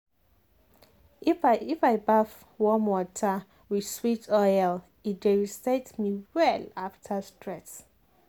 if i baff warm water with sweet oil e dey reset me well after stress.